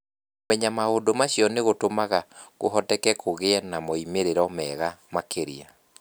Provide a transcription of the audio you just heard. Kũmenya maũndũ macio nĩ gũtũmaga kũhoteke kũgĩe na moimĩrĩro mega makĩria.